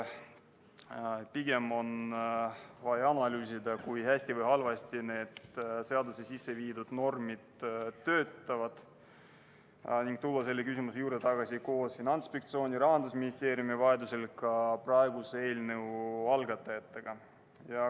Pigem on vaja analüüsida seda, kui hästi või halvasti need seadusesse sisse viidud normid töötavad, ning tulla selle küsimuse juurde hiljem tagasi koos Finantsinspektsiooni, Rahandusministeeriumi ja vajaduse korral ka praeguse eelnõu algatajatega.